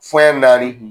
Fɛn naani